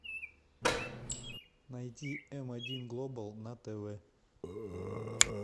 найди м один глобал на тв